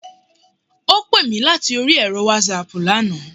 Ó pè mí láti orí ẹ̀rọ Wásaàpù lana